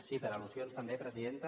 sí per al·lusions també presidenta